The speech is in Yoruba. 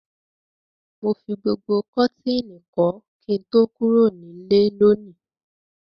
Mo fi gbogbo kọ́tìnì kọ́ kí n tó kúrò nílé lónìí.